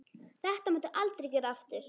Þetta máttu aldrei gera aftur!